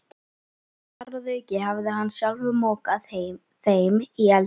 Þar að auki hafði hann sjálfur mokað þeim í eldinn.